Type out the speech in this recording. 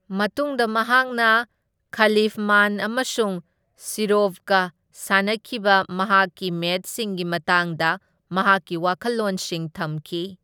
ꯃꯇꯨꯡꯗ ꯃꯍꯥꯛꯅ ꯈꯂꯤꯐꯃꯥꯟ ꯑꯃꯁꯨꯡ ꯁꯤꯔꯣꯚꯀ ꯁꯥꯅꯈꯤꯕ ꯃꯍꯥꯛꯀꯤ ꯃꯦꯆꯁꯤꯡꯒꯤ ꯃꯇꯥꯡꯗ ꯃꯍꯥꯛꯀꯤ ꯋꯥꯈꯜꯂꯣꯟꯁꯤꯡ ꯊꯝꯈꯤ꯫